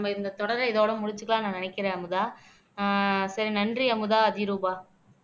நம்ம இந்த தொடரை இதோட முடிச்சுக்கலாம்ன்னு நான் நினைக்கிறேன் அமுதா ஆஹ் சரி நன்றி அமுதா அதிரூபா